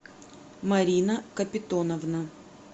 марина капитоновна